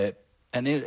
en